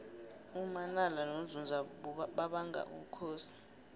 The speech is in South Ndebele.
umanala nonzunza babanga ubukhosi